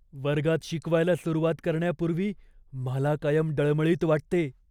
वर्गात शिकवायला सुरूवात करण्यापूर्वी मला कायम डळमळीत वाटते.